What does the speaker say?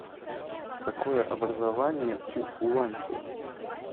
какое образование у уланьфу